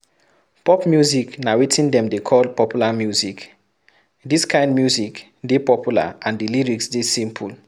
Pop music na wetin dem dey call popular music, this kind music dey popular and di lyrics dey simple